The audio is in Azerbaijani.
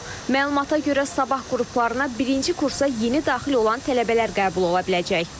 Məlumata görə, sabah qruplarına birinci kursa yeni daxil olan tələbələr qəbul ola biləcək.